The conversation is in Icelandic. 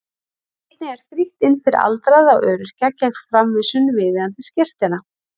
Einnig er frítt inn fyrir aldraða og öryrkja gegn framvísun viðeigandi skírteina.